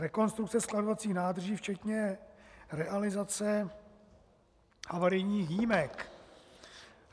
Rekonstrukce skladovacích nádrží včetně realizace havarijních jímek.